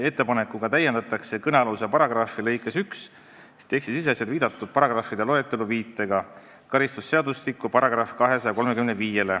Ettepanekuga täiendatakse kõnealuse paragrahvi lõikes 1 tekstisiseselt viidatud paragrahvide loetelu viitega karistusseadustiku §-le 235.